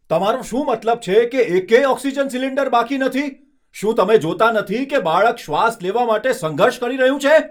તમારો શું મતલબ છે કે એકેય ઓક્સિજન સિલિન્ડર બાકી નથી? શું તમે જોતાં નથી કે બાળક શ્વાસ લેવા માટે સંઘર્ષ કરી રહ્યું છે?